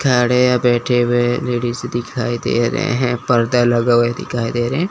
खड़े है बैठे हुए हैं। लेडीज दिखाई दे रहे हैं। पर्दा लगा हुआ दिखाई दे रहे हैं।